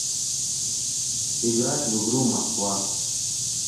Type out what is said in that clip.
играть в игру москва